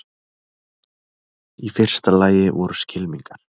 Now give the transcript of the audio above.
Í fyrsta lagi voru skylmingar.